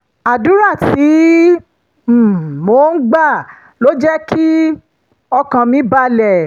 àdúrà tí um mò ń gbà ló jẹ́ kí um ọkàn mi balẹ̀